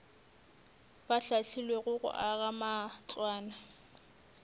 ba hlahlilwego go aga matlwana